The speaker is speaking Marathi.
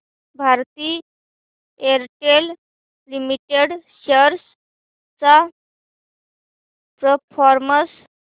भारती एअरटेल लिमिटेड शेअर्स चा परफॉर्मन्स